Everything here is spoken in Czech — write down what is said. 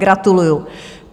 Gratuluju!